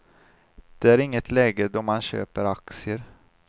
Det är inget läge då man köper aktier.